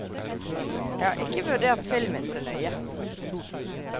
Jeg har ikke vurdert filmen så nøye.